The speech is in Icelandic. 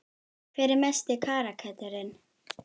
Hver er mesti karakterinn?